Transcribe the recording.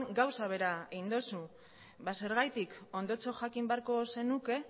gauza bera egin dozu ba zergatik ondotxo jakin beharko zenuke